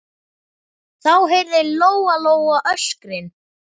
Þá heyrði Lóa-Lóa öskrin.